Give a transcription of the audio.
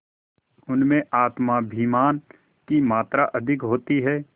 उनमें आत्माभिमान की मात्रा अधिक होती है